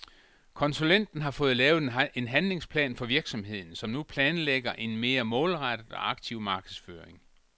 Konsulenten har fået lavet en handlingsplan for virksomheden, som nu planlægger en mere målrettet og aktiv markedsføring.